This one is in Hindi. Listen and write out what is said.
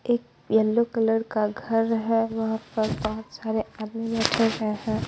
एक येल्लो कलर का घर हैं वहाँ पर बहुत सारे आदमी बैठे हैं हैं।